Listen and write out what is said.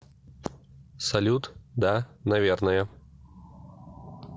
салют да наверное